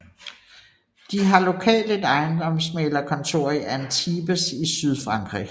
De har lokalt et ejendomsmægler kontor i Antibes i Sydfrankrig